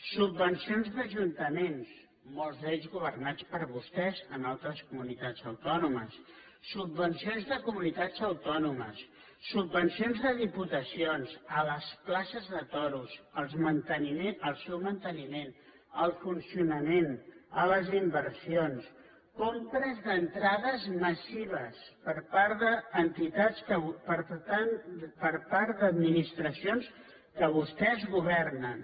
subvencions d’ajuntaments molts d’ells governats per vostès en altres comunitats autònomes subvencions de comunitats autònomes subvencions de diputacions a les places de toros al seu manteniment al funcionament a les inversions compres d’entrades massives per part d’entitats per part d’administracions que vostès governen